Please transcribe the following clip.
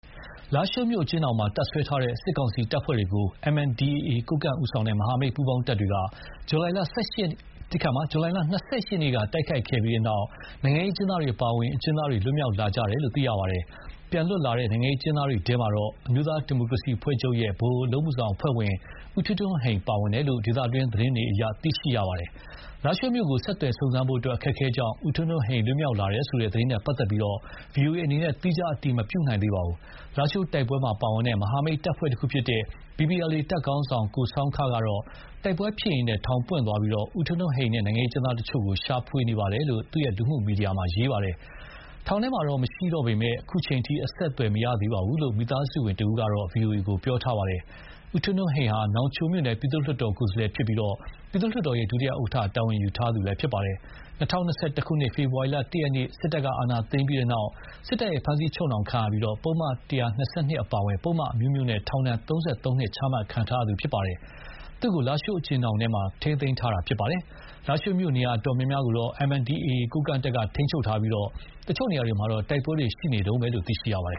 လားရှိုးမြို့ အကျဉ်းထောင်မှာတပ်စွဲထားတဲ့ စစ်ကောင်စီတပ်ဖွဲ့တွေကို MNDAA ကိုးကန့်ဦးဆောင်တဲ့ မဟာမိတ်ပူးပေါင်းတပ်တွေက ဇူလိုင်လ ၂၈ ရက်နေ့က တိုက်ခိုက်ခဲ့ပြီးနောက် နိုင်ငံရေးအကျဉ်းသားတွေအပါအဝင် အကျဉ်းသားတွေ လွတ်မြောက်လာခဲ့ကြတယ်လို့သိရပါတယ်။ ပြန်လွတ်လာတဲ့ နိုင်ငံရေးအကျဉ်းသားတွေထဲမှာ အမျိုးသားဒီမိုကရေစီအဖွဲ့ချုပ် ဗဟိုအလုပ်အမှုဆောင်အဖွဲ့ဝင် ဦးထွန်းထွန်ဟိန် ပါဝင်တယ်လို့ ဒေသတွင်းသတင်းတွေနဲ့ မြန်မာမီဒီယာတချို့က ဖော်ပြနေပါတယ်။ လားရှိုးမြို့ကို ဆက်သွယ်စုံစမ်းဖို့ အခက်အခဲကြောင့် ဦးထွန်းထွန်းဟိန်လွတ်မြောက်လာတယ်ဆိုတဲ့ သတင်းနဲ့ပတ်သက်လို့ VOA အနေနဲ့ သီးခြားအတည်မပြုနိုင်သေးပါဘူး။ လားရှိုးတိုက်ပွဲမှာပါဝင်တဲ့ မဟာမိတ်တပ်ဖွဲ့တခုဖြစ်တဲ့ BPLA တပ်ခေါင်းဆောင် ကိုဆောင်းခကတော့ တိုက်ပွဲဖြစ်ရင်း ထောင်ပွင့်သွားပြီး ဦးထွန်းထွန်းဟိန်နဲ့နိုင်ကျဉ်းတချို့ကို ရှာဖွေနေပါတယ်လို့ သူ့လူမှုမီဒီယာမှာ ရေးသားပါတယ်။ ထောင်ထဲမှာတော့ မရှိတော့ပေမယ့် အခုအချိန်အထိ အဆက်အသွယ်မရသေးဘူးလို့ မိသားစုဝင်တဦးကတော့ VOA ကို ပြောပါတယ်။ ဦးထွန်းထွန်ဟိန်ဟာ နောင်ချိုမြို့နယ် ပြည်သူ့လွှတ်တော်ကိုယ်စားလှယ်ဖြစ်ပြီး ပြည်သူ့လွှတ်တော်ရဲ့ ဒုတိယဥက္ကဋ္ဌ တာဝန်ယူထားသူလည်းဖြစ်ပါတယ်။ ၂၀၂၁ ခုနှစ် ဖေဖော်ဝါရီလ ၁ ရက်နေ့ စစ်တပ်က အာဏာသိမ်းပြီးနောက် စစ်တပ်ရဲ့ဖမ်းဆီးချုပ်နှောင်ခံရပြီး ပုဒ်မ ၁၂၂ အပါအဝင် ပုဒ်မအမျိုးမျိုးနဲ့ ထောင်ဒဏ် ၃၃ နှစ်ချမှတ်ခံထားရတာပါ။ သူ့ကို လားရှိုးအကျဉ်းထောင်မှာ ထိန်းသိမ်းထားခဲ့တာဖြစ်ပါတယ်။ လားရှိုးမြို့ နေရာအတော်များများကိုတော့ MNDAA ကိုးကန့်တပ်က ထိန်းချုပ်ထားပြီး တချို့နေရာတွေမှာ တိုက်ပွဲတွေ ရှိနေတုန်းလို့သိရပါတယ်